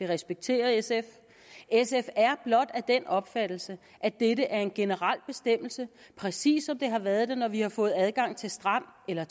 respekterer sf sf er blot af den opfattelse at dette er en generel bestemmelse præcis som det har været det når vi har fået adgang til strand eller